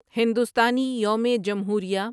ہندوستانی یوم جمہوریہ